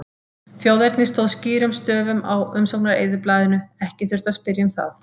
Þjóðernið stóð skýrum stöfum á umsóknareyðublaðinu, ekki þurfti að spyrja um það.